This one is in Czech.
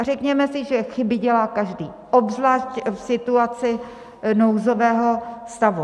A řekněme si, že chyby dělá každý, obzvlášť v situaci nouzového stavu.